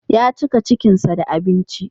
Ya cika cikinsa da abinci.